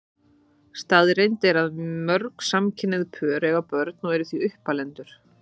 Staðreynd er að mörg samkynhneigð pör eiga börn og eru því uppalendur.